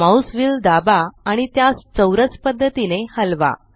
mouse wheel दाबा आणि त्यास चौरस पद्धतीने हलवा